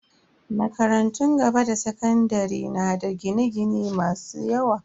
Makarantun gaba da sakandare na da gine-gine masu yawa.